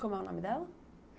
Como é o nome dela?